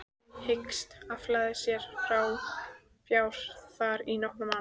Hyggst afla sér fjár þar í nokkra mánuði.